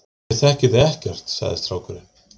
Ég þekki þig ekkert, sagði strákurinn.